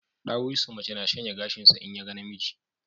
Ɗawisu mace na shanya gashinsa in ya ga namiji